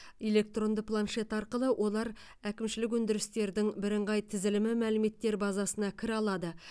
электронды планшет арқылы олар әкімшілік өндірістердің бірыңғай тізілімі мәліметтер базасына кіре алады